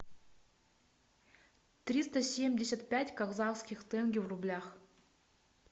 триста семьдесят пять казахских тенге в рублях